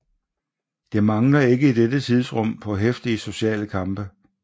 Det mangler ikke i dette tidsrum på heftige sociale kampe